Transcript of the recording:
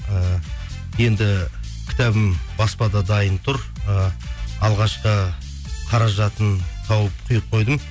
ііі енді кітабым баспада дайын тұр і алғашқы қаражатын тауып құйып қойдым